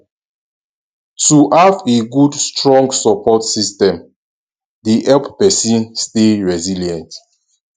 to have a good strong support system dey help pesin stay resilient